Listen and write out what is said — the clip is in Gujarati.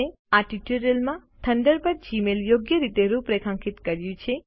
આ ટ્યુટોરીયલ માં થંડરબર્ડએ જીમેઈલને યોગ્ય રીતે રૂપરેખાંકિત કર્યું છે